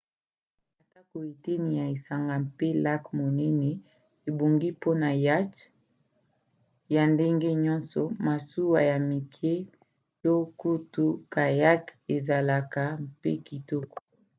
atako eteni ya esanga mpe lac monene ebongi mpona yacth ya ndenge nyonso masuwa ya mike to kutu kayak ezalaka mpe kitoko